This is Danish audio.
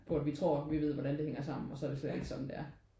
Hvor at vi tror vi ved hvordan det hænger sammen og så er det slet ikke sådan det er